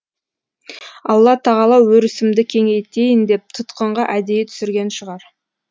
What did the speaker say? алла тағала өрісімді кеңейтейін деп тұтқынға әдейі түсірген шығар